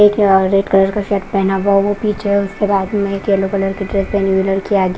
एक orange colour का shirt पहना हुआ। वह पीछे उसके बाद में येलो कलर की ड्रेस पहने हुए लड़की आगे--